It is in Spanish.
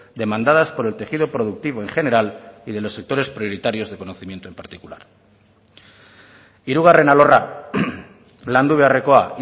demandadas por el tejido productivo en general y de los sectores prioritarios de conocimiento en particular hirugarren alorra landu beharrekoa